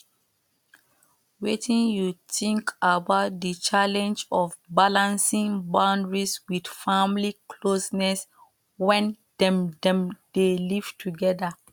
wetin you think about di challenge of balancing boundaries with family closeness when dem dem dey live together